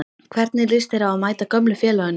Hvernig lýst þér á að mæta gömlu félögunum?